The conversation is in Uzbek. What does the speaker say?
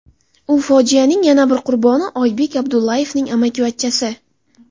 U fojianing yana bir qurboni Oybek Abdullayevning amakivachchasi .